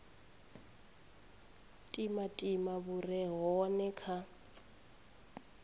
timatima hu re hone kha